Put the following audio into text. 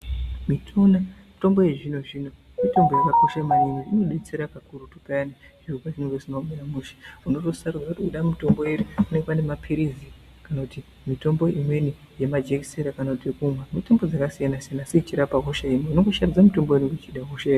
Mitombo yechizvino zvino mitombo yakakosha maningi inodetsera kakurutu piyani zvekuti kana zviro zvisina kumira mushe unosarudza kuti unoda mutombo uri panenge pane mapirizi kana kuti mitombo imweni yemajekiseni kana yekumwa mitombo dzakasiyana-siyana asi dzichirapa hosha imwe unongoshandisa waunenge uchidahosha.